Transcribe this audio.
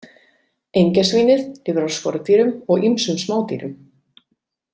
Engjasvínið lifir á skordýrum og ýmsum smádýrum.